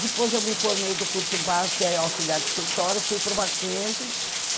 Depois eu me formei do curso básico, que é auxiliar de escritório, fui para o Mackenzie.